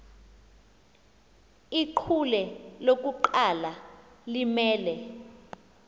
ichule lokuqala limele